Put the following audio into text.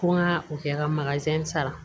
Ko n ka o kɛ ka sara